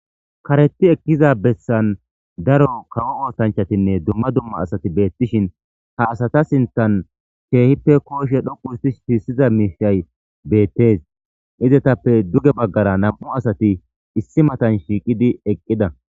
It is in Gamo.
Kareti ekkiza bessan daro kawo oosanchatinne dumma dumma asati beettishin ha asata sintan keehippe kooshe dhoqu hustish siissiza miishay beettes izetappe duge baggara nam7u asati issi matan shiiqidi eqqida.